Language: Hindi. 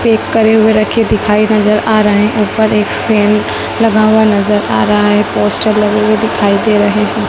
चेक करे हुए रखे दिखाई नज़र आ रहे हैं ऊपर एक फैन लगा हुआ नज़र आ रहा है पोस्टर लगे हुए दिखाई दे रहे हैं।